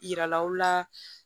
Yiralaw la